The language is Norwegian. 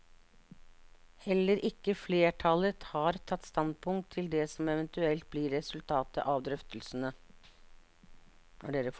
Heller ikke flertallet har tatt standpunkt til det som eventuelt blir resultatet av drøftelsene.